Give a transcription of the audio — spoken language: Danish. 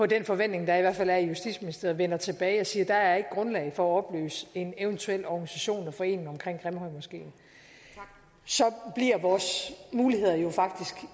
den forventning der i hvert fald er i justitsministeriet vender tilbage og siger at der ikke er grundlag for at opløse en eventuel organisation og forening omkring grimhøjmoskeen så bliver vores muligheder jo